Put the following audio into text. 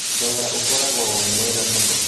Thogora ũkoragwo wĩ mwega mũno